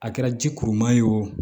A kɛra ji kuruman ye o